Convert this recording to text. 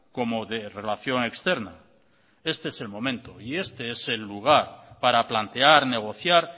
como de relación externa este es el momento y este es el lugar para plantear negociar